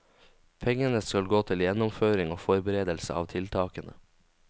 Pengene skal gå til gjennomføring og forberedelse av tiltakene.